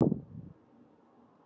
Og ekki gleyma lifandi blómum!